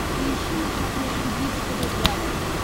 поищи на смотрешке бридж тв классик